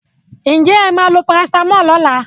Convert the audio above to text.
Will you take paracetamol tomorrow?